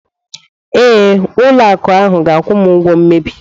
Ee, ụlọ akụ ahu ga-akwụ m ụgwọ mmebi.